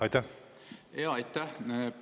Aitäh!